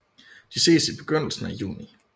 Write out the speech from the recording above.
De ses i begyndelsen af juni